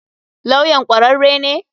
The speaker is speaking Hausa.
Lawyan kwararre ne?